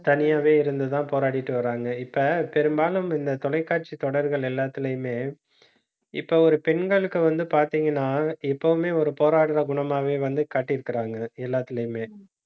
தனியாவே இருந்து தான் போராடிட்டு வர்றாங்க. இப்ப பெரும்பாலும் இந்த தொலைக்காட்சி தொடர்கள் எல்லாத்துலயுமே இப்ப ஒரு பெண்களுக்கு வந்து பாத்தீங்கன்னா, எப்பவுமே ஒரு போராடுற குணமாவே வந்து காட்டியிருக்கிறாங்க, எல்லாத்திலையுமே